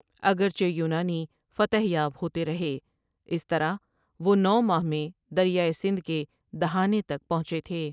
اگرچہ یونانی فتح یاب ہوتے رہے اس طرح وہ نو ماہ میں دریائے سندھ کے دھانے تک پہنچے تھے۔